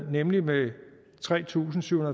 nemlig med tre tusind syv